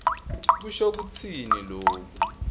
kusho kutsini loku